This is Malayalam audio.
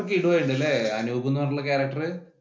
അപ്പൊ കിടു ആയിട്ടുണ്ട്‌ അല്ലേ അനൂപ്‌ എന്ന് പറഞ്ഞിട്ടുള്ള character